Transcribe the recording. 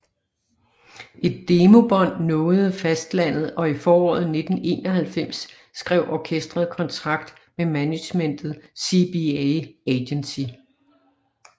Et demobånd nåede fastlandet og i foråret 1991 skrev orkestret kontrakt med managementet CBA Agency